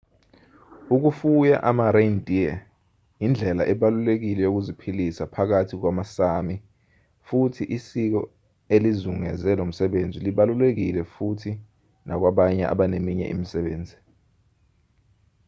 ukufuya ama-reindeer indlela ebalulekile yokuziphilisa phakathi kwamasámi futhi isiko elizungeze lomsebenzi libalulekile futhi nakwabanye abaneminye imisebenzi